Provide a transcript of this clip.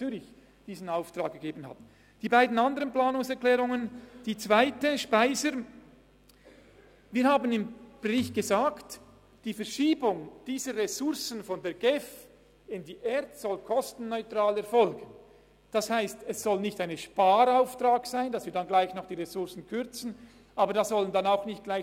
Zu Planungserklärung 3, SVP/Speiser und FDP/Schmidhauser: Wer die Planungserklärung 3 annimmt, stimmt Ja, wer diese ablehnt, stimmt Nein.